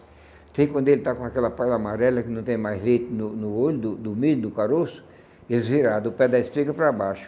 Até quando ele está com aquela palha amarela que não tem mais leite no no olho do do milho, do caroço, ele vira do pé da espiga para baixo.